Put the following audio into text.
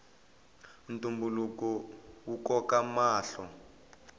ntumbuluko wu koka mahlo